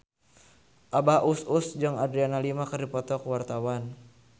Abah Us Us jeung Adriana Lima keur dipoto ku wartawan